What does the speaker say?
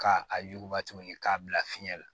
K'a a yuguba tuguni k'a bila fiɲɛ la